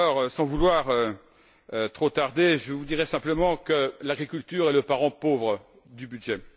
Sans vouloir trop tarder, je vous dirai simplement que l'agriculture est le parent pauvre du budget.